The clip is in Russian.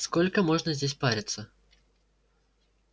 сколько можно здесь париться